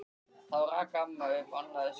Þá rak amma upp annað öskur.